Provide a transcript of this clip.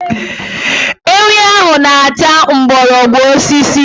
Ewi ahụ na-ata mgbọrọgwụ osisi